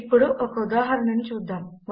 ఇప్పుడు ఒక ఉదాహరణను చూద్దాము